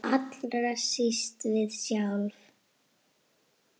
Allra síst við sjálf.